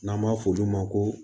N'an b'a f'olu ma ko